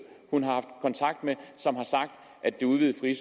hun har haft kontakt med som har sagt at det udvidede frie